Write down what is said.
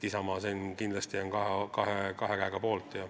Isamaa on kindlasti kahe käega selle poolt.